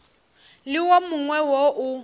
le wo mongwe wo o